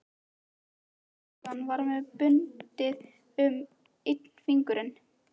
Afgreiðslustúlkan var með bundið um einn fingurinn.